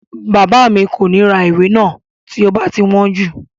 Bàbá mi kò ní ra ìwé náà tí ó bá wọ́n jù